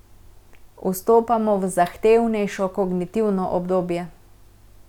Vstopamo v zahtevnejšo kognitivno obdobje.